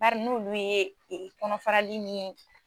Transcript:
Bari n'oolu ye kɔnɔfarali min